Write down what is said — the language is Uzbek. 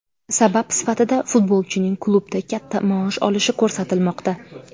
Sabab sifatida futbolchining klubda katta maosh olishi ko‘rsatilmoqda.